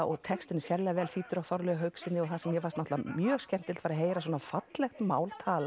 og textinn er sérlega vel þýddur af Þorleifi Haukssyni og það sem mér fannst náttúrulega mjög skemmtilegt var að heyra svona fallegt mál talað